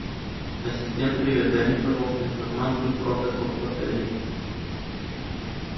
ассистент привет дай мне пожалуйста информацию про каток в отеле